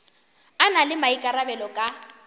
a na le maikarabelo ka